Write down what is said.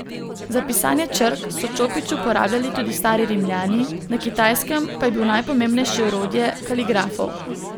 Za pisanje črk so čopič uporabljali tudi stari Rimljani, na Kitajskem pa je bil najpomembnejše orodje kaligrafov.